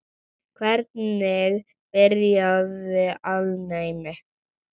Hvernig byrjaði alnæmi?